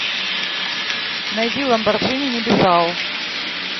найди ламборджини небезао